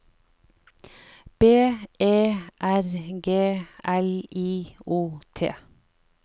B E R G L I O T